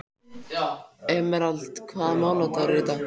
Emerald, hvaða mánaðardagur er í dag?